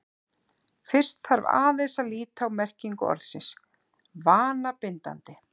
fyrst þarf aðeins að líta á merkingu orðsins „vanabindandi“